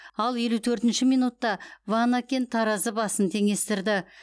ал елу төртінші минутта ванакен таразы басын теңестірді